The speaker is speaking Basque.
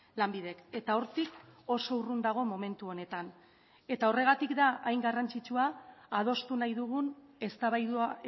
lanbidek eta hortik oso urrun dago momentu honetan eta horregatik da hain garrantzitsua adostu nahi dugun eztabaida